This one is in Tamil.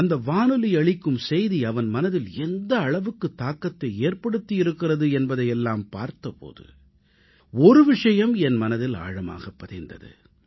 அந்த வானொலி அளிக்கும் செய்தி அவன் மனதில் எந்த அளவுக்கு தாக்கத்தை ஏற்படுத்தி இருக்கிறது என்பதை எல்லாம் பார்த்த போது ஒரு விஷயம் என் மனதில் ஆழமாகப் பதிந்தது